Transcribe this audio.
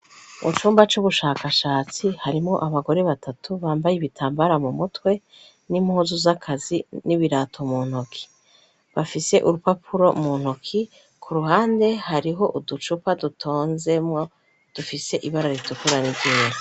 mucumba c'ubushakashatsi harimwo abagore batatu bambaye ibitambara mumutwe n'impuzu z'akazi n'ibirato muntoki bafise urupapuro muntoki ku ruhande hariho uducupa dutonzemwo dufise ibara ritukura ni ryira